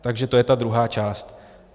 Takže to je ta druhá část.